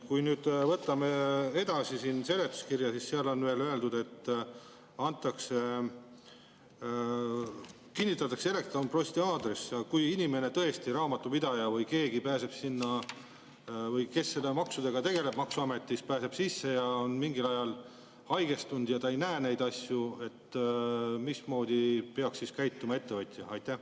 Kui nüüd võtame lahti seletuskirja, siis seal on veel öeldud, et kinnitatakse elektronposti aadress, ja kui inimene, raamatupidaja või keegi muu, pääseb sinna või see, kes nende maksudega tegeleb maksuametis, pääseb sisse ja on mingil ajal haigestunud ja ta ei näe neid asju, mismoodi peaks siis käituma ettevõtja?